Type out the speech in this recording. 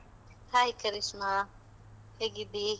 Hai Karishma, ಹೇಗಿದ್ದೀ?